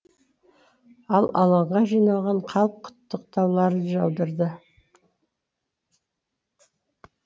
ал алаңға жиналған халық құттықтауларын жаудырды